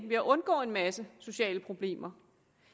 ved at undgå en masse sociale problemer